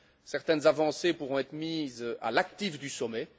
Certaines avancées pourront être mises à l'actif du sommet.